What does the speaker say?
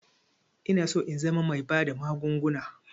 Inaso in zama bai bada magunguna